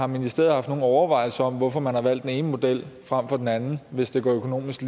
ministeriet haft nogen overvejelser over hvorfor man har valgt den ene model frem for den anden hvis det økonomisk